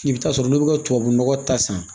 I bɛ taa sɔrɔ olu bɛ ka tubabu nɔgɔ ta san